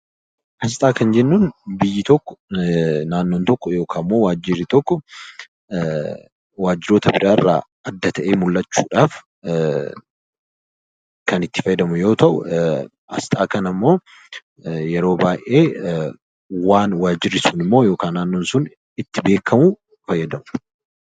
Asxaa kan jennuun biyyi, naannoon yookaan waajirri tokko wantoota alaarraa adda ta'ee mul'achuudhaaf kan itti fayyadamu yoo ta'u, asxaa kanammoo yeroo baay'ee waan waajirri sun yookiin naannoon sun ittiin beekamudha